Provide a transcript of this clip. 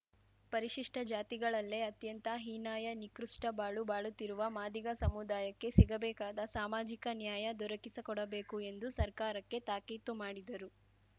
ಪರಿಶಿಷ್ಟಜಾತಿಗಳಲ್ಲೇ ಅತ್ಯಂತ ಹೀನಾಯ ನಿಕೃಷ್ಟಬಾಳು ಬಾಳುತ್ತಿರುವ ಮಾದಿಗ ಸಮುದಾಯಕ್ಕೆ ಸಿಗಬೇಕಾದ ಸಾಮಾಜಿಕ ನ್ಯಾಯ ದೊರಕಿಸಕೊಡಬೇಕು ಎಂದು ಸರ್ಕಾರಕ್ಕೆ ತಾಕೀತು ಮಾಡಿದರು